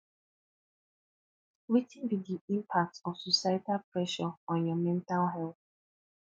wetin be di impact of societal pressure on your mental health